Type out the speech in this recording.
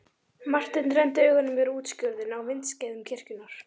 Marteinn renndi augunum yfir útskurðinn á vindskeiðum kirkjunnar.